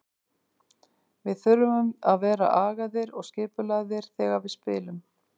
Við þurfum að vera agaðir og skipulagðir þegar við spilum.